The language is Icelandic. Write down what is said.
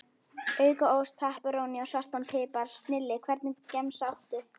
Auka ost, pepperóní og svartan pipar, snilli Hvernig gemsa áttu?